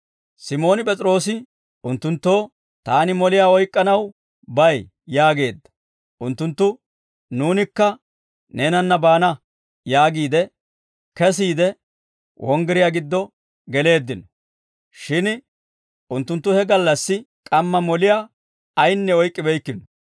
Simooni P'es'iroose unttunttoo, «Taani moliyaa oyk'k'anaw bay» yaageedda. Unttunttu, «Nuunikka neenanna baana» yaagiide, kesiide wonggiriyaa giddo geleeddino; shin unttunttu he gallassi k'amma moliyaa ayinne oyk'k'ibeykkino.